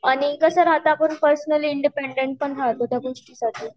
आणि कस राहत आपण पर्सनली इंडिपेंडेंट पण राहतो